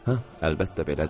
Hə, əlbəttə belədir.